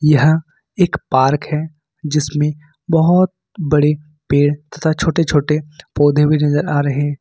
यहाँ एक पार्क है जिसमें बहोत बड़े पेड़ तथा छोटे-छोटे पौधे भी नज़र आ रहे --